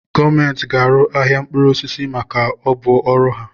Gọọmenti ga arụ ahịa mkpụrụ osisi maka ọ bu ọrụ ha.